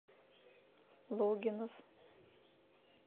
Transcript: логинов